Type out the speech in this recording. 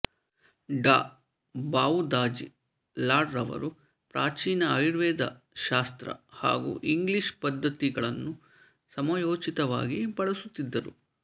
ಡಾ ಭಾವುದಾಜಿ ಲಾಡ್ ರವರು ಪ್ರಾಚೀನ ಆಯುರ್ವೇದ ಶಾಸ್ತ್ರ ಹಾಗೂ ಇಂಗ್ಲೀಷ್ ಪದ್ಧತಿಗಳನ್ನು ಸಮಯೋಚಿತವಾಗಿ ಬಳಸುತ್ತಿದ್ದರು